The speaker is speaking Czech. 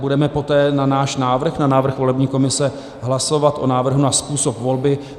Budeme poté na náš návrh, na návrh volební komise, hlasovat o návrhu na způsob volby.